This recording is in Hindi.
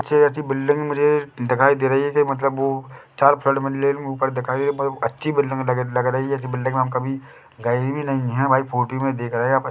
अच्छी अच्छी बिल्डिंग मुझे दिखाई दे रही है के मतलब वो चार फ्लैट ऊपर दिखाई है पर अच्छी बिल्डिंग लग रही है ऐसी बिल्डिंग मे हम कभी गए भी नहीं है भाई फोटो मे देख रहे है।